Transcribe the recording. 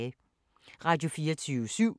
Radio24syv